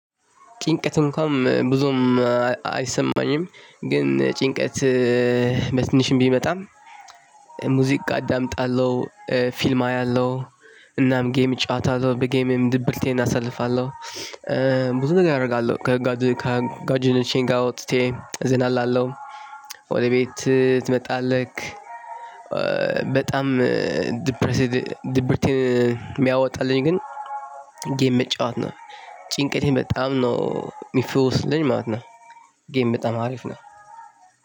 ጭንቀት እንኳን ብዙም አይሰማኝም ግን ጭንቀት በትንሽም ቢመጣም። ሙዚቃ አዳምጣለሁ ፊልም አያለሁ እናም ጌም እጫወታለሁ በጌምም ድብርቴን አሳልፋለሁ። ብዙ ነገር አደርጋለሁ ከጓደ ከጓደኞቼ ጋር ወጥቼ እዝ ዘና እላለሁ። ወደ ቤት ትመጣለክ? በጣም ድብርት ድብርት የሚያወጣልኝ ግን ጌም መጫወት ነው። ጭንቀቴን በጣም ነው የሚፈውስልኝ ማለት ነው። ጌም በጣም አሪፍ ነው።